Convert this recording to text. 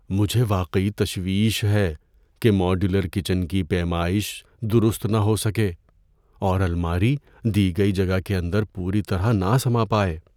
مجھے واقعی تشویش ہے کہ ماڈیولر کچن کی پیمائش درست نہ ہو سکے، اور الماری دی گئی جگہ کے اندر پوری طرحنہ سما پائے۔